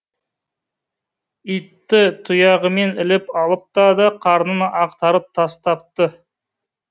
итті тұяғымен іліп алыпты да қарнын ақтарып тастапты